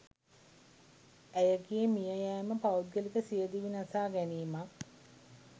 ඇයගේ මියයෑම පෞද්ගලික සියදිවි නසා ගැනීමක්